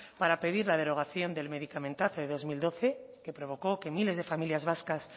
para pedir la derogación del medicamentazo del dos mil doce que provocó que miles de familias vascas